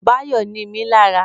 Báyọ̀ nimí lára